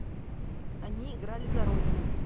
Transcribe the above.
они играли за родину